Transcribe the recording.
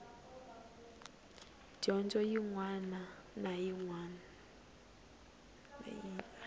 dyondzo yin wana na yin